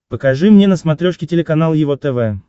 покажи мне на смотрешке телеканал его тв